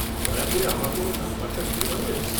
-দয়া করে আমাকে ওঁর নম্বরটা দিতে পারবে?